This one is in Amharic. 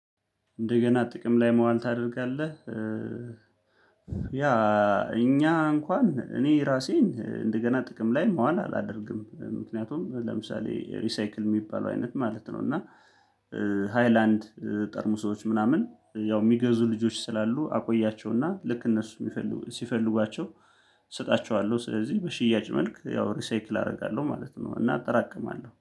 እንደገና ጥቅም ላይ መዋል ታደርጋለህ? ያ እኛ እንኳን እኔ ራሴን እንደገና ጥቅም ላይ መዋል አላደርግም ምክንያቱም ለምሳሌ ሪሳይክል የሚባለው አይነት ማለት ነው። እና ሃይላንድ ጠርሙሶች ምናምን ያው የሚገዙ ልጆች ስላሉ አቆያቸውና ልክ እነሱ የሚፈልጉ ሲፈልጓቸው እሰጣቸዋለሁ። ስለዚህ በሽያጭ መልክ ያው ሪሳይክል አደርጋለሁ ማለት ነው። እና አጠራቅማለሁ